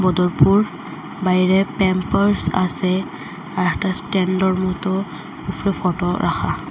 বদরপুর বাইরে প্যাম্পার্স আসে আর একটা স্ট্যান্ডের মতো উপরে ফোটো রাখা।